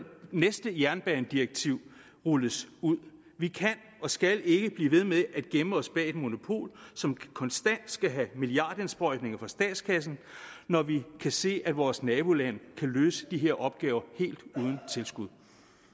næste jernbanedirektiv rulles ud vi kan og skal ikke blive ved med at gemme os bag et monopol som konstant skal have milliardindsprøjtninger fra statskassen når vi kan se at vores nabolande kan løse de her opgaver helt uden tilskud